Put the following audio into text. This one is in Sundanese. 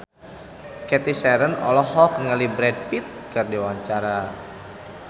Cathy Sharon olohok ningali Brad Pitt keur diwawancara